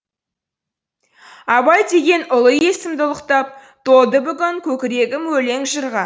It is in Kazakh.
абай деген ұлы есімді ұлықтап толды бүгін көкірегім өлең жырға